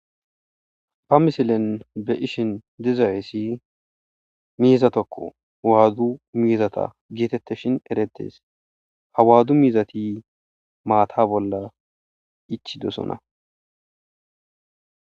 Ha misilen be'ashn dizaysi mizatako waadu mizata getetishn eretes, ha waadu mizati maata bolla ichidosona.